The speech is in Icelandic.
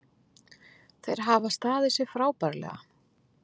Þeir hafa staðið sig frábærlega